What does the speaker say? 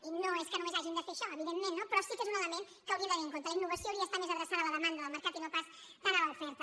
i no és que només hagin de fer això evidentment no però sí que és un element que hauríem de tenir en compte la innovació hauria d’estar més adreçada a la demanda del mercat i no pas tant a l’oferta